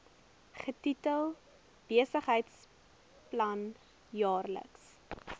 getitel besigheidsplan jaarlikse